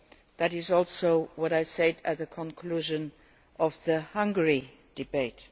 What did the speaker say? That is also what I said at the conclusion of the Hungary debate.